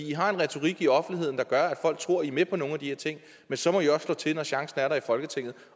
i har en retorik i offentligheden der gør at folk tror i med på nogle af de her ting men så må i også slå til når chancen er der i folketinget